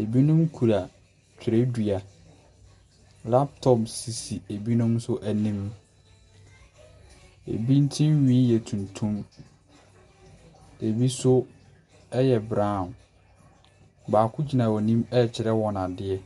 Ebinom kura twerɛdua. Laptop sisi ebinom nso anim. Ebi tiri nhwi yɛ tuntum. Ebi nso yɛ brown. Baako gyina wɔn anim rekyerɛ wɔn adeɛ.